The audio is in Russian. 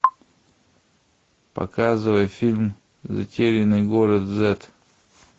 показывай фильм затерянный город зет